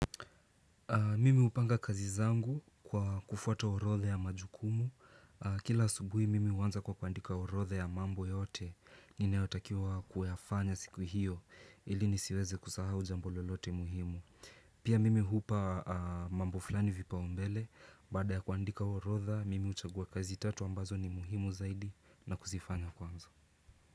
Mimi hupanga kazi zangu kwa kufuata orodha ya majukumu. Kila subuhi, mimi huanza kwa kuandika orodha ya mambo yote. Ninayotakiwa kuyafanya siku hiyo, ili nisiweze kusahau jambo lolote muhimu. Pia mimi hupa mambo fulani vipaumbele. Baada ya kuandika orodha, mimi huchagua kazi tatu ambazo ni muhimu zaidi na kuzifanya mwanzo.